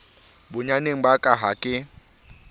bonyaneng ba ka ha ke